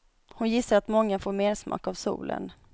Hon gissar att många får mersmak av solen.